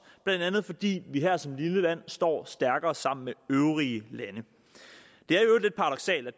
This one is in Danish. blandt andet fordi vi her som lille land står stærkere sammen med øvrige lande